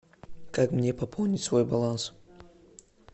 как мне пополнить свой баланс